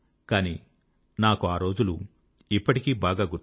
కానీ నాకు ఆ రోజులు ఇప్పటికీ బాగా గుర్తు